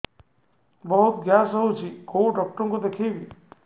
ବହୁତ ଗ୍ୟାସ ହଉଛି କୋଉ ଡକ୍ଟର କୁ ଦେଖେଇବି